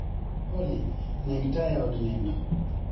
Olly neg taya eod nindo